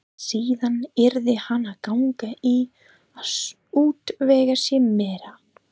Síðan yrði hann að ganga í að útvega sér meira.